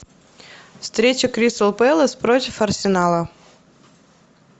встреча кристал пэлас против арсенала